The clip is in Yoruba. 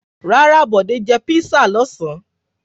Rárá, Bọ̀dé jẹ písà lọ́sàn-án.